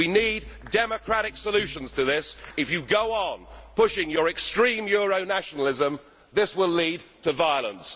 We need democratic solutions to this. If you go on pushing your extreme euro nationalism, this will lead to violence.